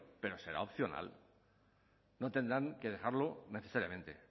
pero será opcional no tendrán que dejarlo necesariamente